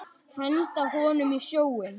Henda honum í sjóinn!